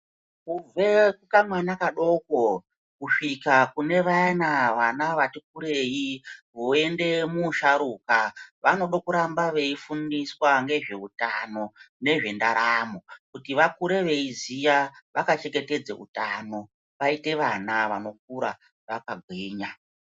Kubve kamwana kadoko kusvike kune vayana vana vati kurei, vode kuenda muusharuka vanodo kuramba veifundiswa ngezveutano nezvendaramo. Kuti vakure veiziya vakachengetedze utano. Vaite vana vanokura vakagwinya.